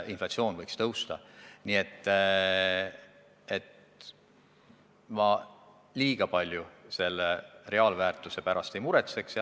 Nii et ma väga palju raha reaalväärtuse pärast ei muretseks.